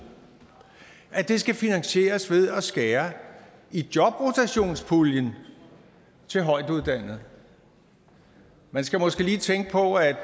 at det skal finansieres ved at skære i jobrotationspuljen til højtuddannede man skal måske lige tænke på at